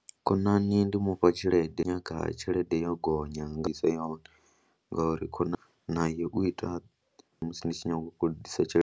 Khonani ndi mu fha tshelede, nyaga tshelede yo gonya nga isa yoṱhe ngauri khonani naye u ita musi ndi tshi nyanga u khou kolodisa tshelede.